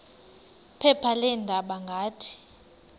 phepha leendaba ngathi